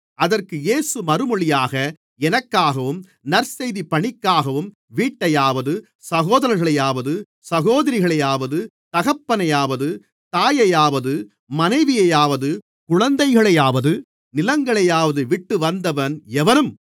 அதற்கு இயேசு மறுமொழியாக எனக்காகவும் நற்செய்திப் பணிக்காகவும் வீட்டையாவது சகோதரர்களையாவது சகோதரிகளையாவது தகப்பனையாவது தாயையாவது மனைவியையாவது குழந்தைகளையாவது நிலங்களையாவது விட்டு வந்தவன் எவனும்